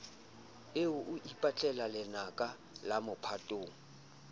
eo e ipatlelalenaka la mophatong